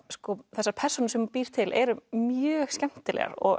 þessar persónur sem hún býr til eru mjög skemmtilegar og